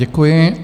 Děkuji.